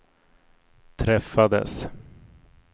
träffades